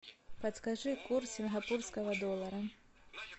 подскажи курс сингапурского доллара